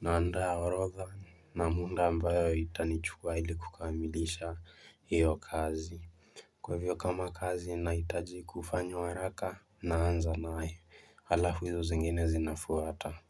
Naandaa orodha na muda ambayo haitanichukua ili kukamilisha hiyo kazi Kwa hivyo kama kazi inahitaji kufanywa haraka naanza naye alafu izo zingine zina fuata.